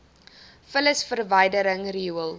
vullis verwydering riool